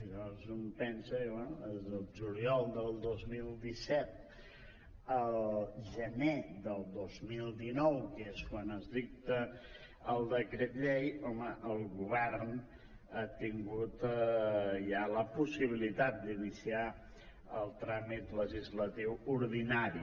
llavors un pensa i diu bé des del juliol del dos mil disset al gener del dos mil dinou que és quan es dicta el decret llei home el govern ha tingut ja la possibilitat d’iniciar el tràmit legislatiu ordinari